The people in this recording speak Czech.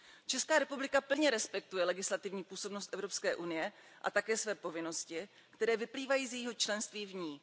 Česká republika plně respektuje legislativní působnost Evropské unie a také své povinnosti, které vyplývají z jejího členství v ní.